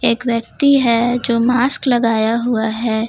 एक व्यक्ति है जो मास्क लगाया हुआ है।